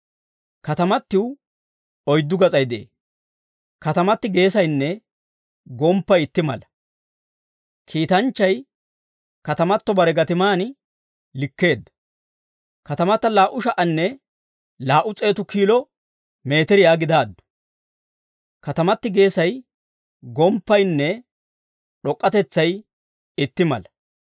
Katamatiw oyddu gas'ay de'ee; katamati geesaynne gomppay itti mala. Kiitanchchay katamato bare gatiman likkeedda. Katamata laa"u sha"anne laa"u s'eetu kiilo miitiriyaa gidaaddu; katamati geesay, gomppaynne d'ok'k'atetsay itti mala.